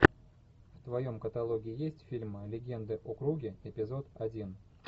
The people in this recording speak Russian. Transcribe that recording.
в твоем каталоге есть фильмы легенды о круге эпизод один